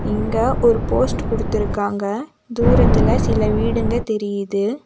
இங்க ஒரு போஸ்ட் குடுத்திருக்காங்க தூரத்துல சில வீடுங்க தெரியிது.